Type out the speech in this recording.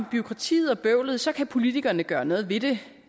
bureaukratiet og bøvlet så kan politikerne gøre noget ved det